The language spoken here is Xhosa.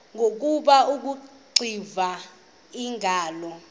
ngoku akuxiva iingalo